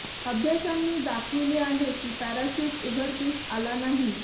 अभ्यासांनी दाखविले आहे की पॅराशूट उघडकीस आला नाही